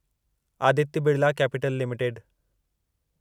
Aditya Birla Capital limited